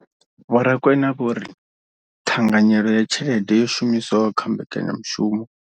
Vho Rakwena vho ri ṱhanganyelo ya tshelede yo shumiswaho kha mbekanyamushumo.